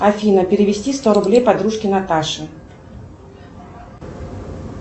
афина перевести сто рублей подружке наташе